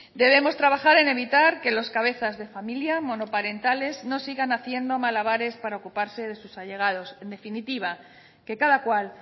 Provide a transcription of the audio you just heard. debemos trabajar en evitar que los cabezas de familia monoparentales no sigan haciendo malabares para ocuparse de sus allegados en definitiva que cada cual